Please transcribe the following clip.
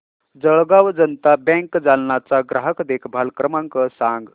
Jalgaon Janata bank Jalna चा ग्राहक देखभाल क्रमांक सांग